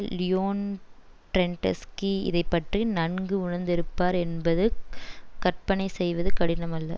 Leon Trotsky இதை பற்றி நன்கு உணந்திருப்பார் என்பது கற்பனை செய்வது கடினம் அல்ல